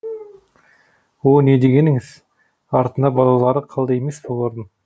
о не дегеніңіз артында балалары қалды емес пе олардың